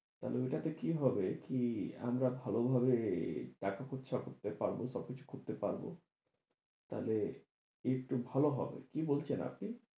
তাহলে ওইটাতে কি হবে কি? আমার ভালোভাবে দেখা চর্চা করতে পারবো, সবকিছু করতে পারবো তাহলে একটু ভালো হবে, কি বলছেন আপনি?